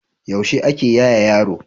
yaushe ake yaye yaro